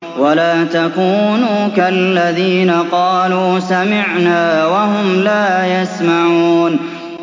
وَلَا تَكُونُوا كَالَّذِينَ قَالُوا سَمِعْنَا وَهُمْ لَا يَسْمَعُونَ